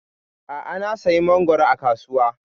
A'a, na sayi mangoro a kasuwa.